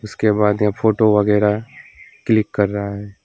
उसके बाद यहां फोटो वगैरा क्लिक कर रहा है।